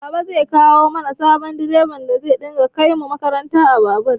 Baba zai kawo mana sabon direban da zai dinga kaimu makaranta a babur